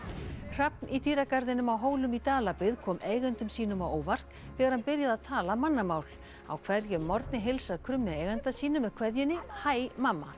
hrafn í dýragarðinum á Hólum í Dalabyggð kom eigendum sínum á óvart þegar hann byrjaði að tala mannamál á hverjum morgni heilsar krummi eiganda sínum með kveðjunni hæ mamma